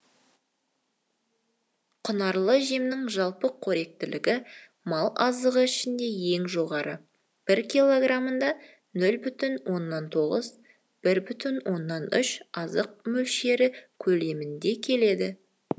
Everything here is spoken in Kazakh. құнарлы жемнің жалпы қоректілігі мал азығы ішінде ең жоғары бір килограммда нөл бүтін оннан тоғыз бір бүтін оннан үш азық өлшемі көлеміңде келеді